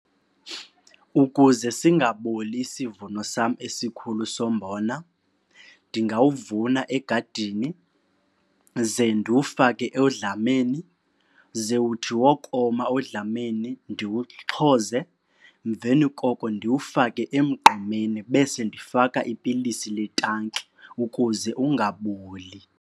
Ukuze singaboli isivuno sam esikhulu sombona ndingawuvuna egadini ze ndiwufake odlameni. Ze uthi wokoma odlameni ndiwuxhoze, emveni koko ndiwufake emgqomeni bese ndifaka ipilisi letanki ukuze ungaboli.